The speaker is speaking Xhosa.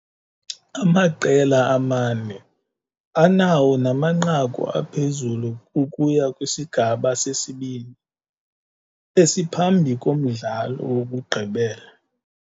Amaqela amane anawona manqaku aphezulu ukuya kwisigaba sesibini, esiphambi komdlalo wokugqibela.